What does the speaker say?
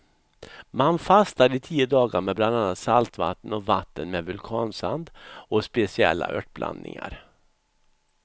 Man fastar i tio dagar med bland annat saltvatten och vatten med vulkansand och speciella örtblandningar.